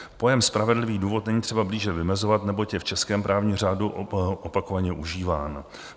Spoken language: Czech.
Pojem spravedlivý důvod není třeba blíže vymezovat, neboť je v českém právním řádu opakovaně užíván.